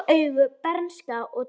Blá augu, bernska og töfrar